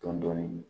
Dɔɔnin dɔɔnin